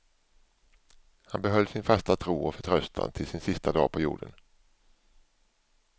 Han behöll sin fasta tro och förtröstan till sin sista dag på jorden.